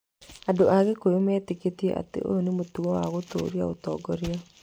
Andũ a gĩkũyũ metĩkĩtie atĩ ũyũ nĩ mũtugo wa gũtũũria ũtongoria.